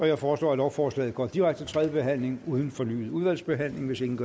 jeg foreslår at lovforslaget går direkte til tredje behandling uden fornyet udvalgsbehandling hvis ingen